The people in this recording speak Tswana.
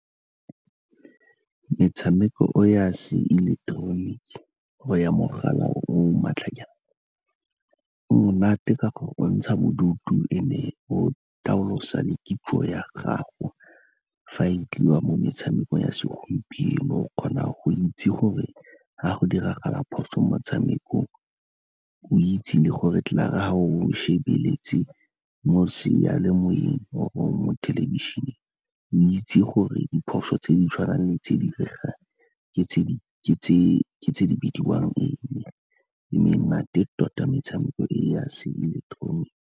Metshameko eo ya seileketeroniki go ya mogala o maatlajana, e monate ka gore o ntsha bodutu and-e o taolosa le kitso ya gago, fa e tliwa mo metshamekong ya segompieno, o kgona go itse gore ga go diragala phoso mo motshamekong o itse le gore klaar-e ga o shebeletse mo sealemoyeng or-e mo thelebišeneng, o itse gore diphoso tse di tshwanang le tse di iregang ke tse di bidiwang eng, e menate tota metshameko e ya seileketeroniki.